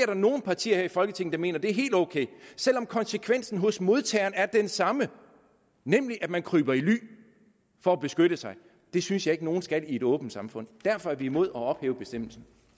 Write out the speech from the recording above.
der nogle partier her i folketinget der mener er helt ok selv om konsekvensen hos modtageren er den samme nemlig at man kryber i ly for at beskytte sig det synes jeg ikke at nogen skal i et åbent samfund derfor er vi imod at ophæve bestemmelsen